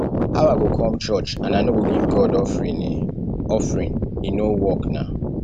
how i go come church and i no go give god offering e offering e no work na